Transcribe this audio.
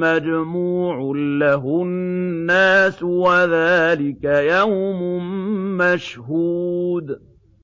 مَّجْمُوعٌ لَّهُ النَّاسُ وَذَٰلِكَ يَوْمٌ مَّشْهُودٌ